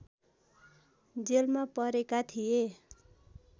जेलमा परेका थिए